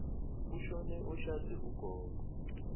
kushone oshade ugogo